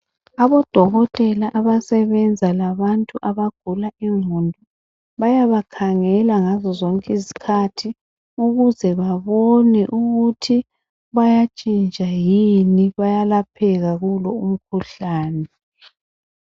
Abodokotela abasebenza labantu abagula ingqondo bayabakhangela ngazozonke izikhathi ukuze babone ukuthi bayatshintsha yini bayalapheka kulo umkhuhlane.